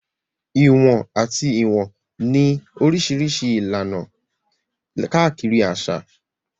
Ìwọ̀n àti Ìwọ̀n ní Oríṣiríṣi ìlànà káàkiri àṣà.